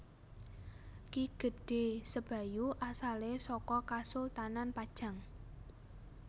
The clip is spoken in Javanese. Ki Gedhé Sebayu asalé saka Kasultanan Pajang